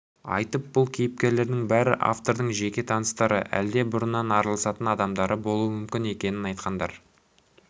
айтып бұл кейіпкерлердің бәрі автордың жеке таныстары әлде бұрыннан араласатын адамдары болуы мүмкін екенін айтқандар